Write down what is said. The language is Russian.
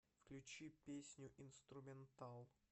включи песню инструментал